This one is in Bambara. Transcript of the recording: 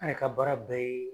An yɛrɛ ka baara bɛɛ ye